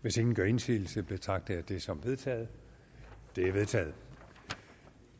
hvis ingen gør indsigelse betragter jeg det som vedtaget det vedtaget